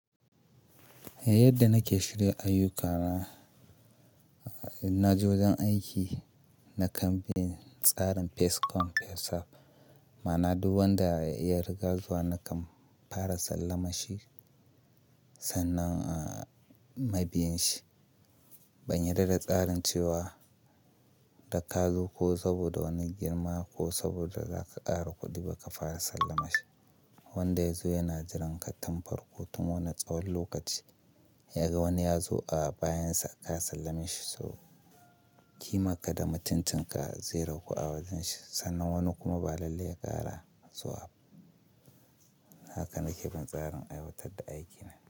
Yadda nake shirin ayyukana, na je wajen aiki na kan biya tsarin First cam, first sav. Ma'ana duk wanda ya riga zuwa na kan fara sallama shi sannan a mabiya shi. Ban yarda da tsarin cewa da ka zo ko saboda wani girma ko saboda za ka ƙara kuɗi ba ka fara sallama shi. Wanda ya zo yana jiran ka tun farko tun wannan tsawon lokaci. Yaga wani ya zo a bayan sa aka sallame shi so, ki maka da macincinka zai raku a wajen shi. Sannan wani kuma ba lalle ya ƙara zuwa. Haka nake bin tsarin aiwatar da aikina.